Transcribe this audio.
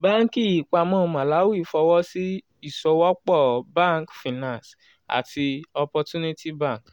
banki ìpamọ́ malawi fọwọ́ sí ìsowọ́pọ̀ bank finance àti opportunity bank